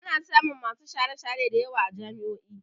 Ana samun masu share-share da yawa a jami'o'i.